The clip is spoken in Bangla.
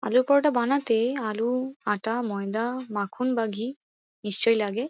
আলুর পরোটা বানাতে আলু আটা ময়দা মাখন বা ঘি নিশ্চই লাগে।